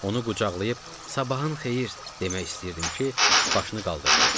Onu qucaqlayıb, sabahın xeyir demək istəyirdim ki, başını qaldırdı.